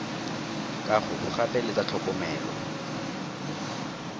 kago gape le tsa tlhokomelo